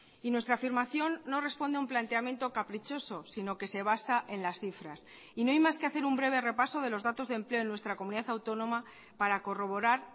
y nuestra afirmación no responde a un planteamiento caprichoso sino que se basa en las cifras y no hay más que hacer un breve repaso de los datos de empleo en nuestra comunidad autónoma para corroborar